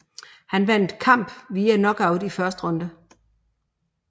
Han vandt kamp via knockout i første runde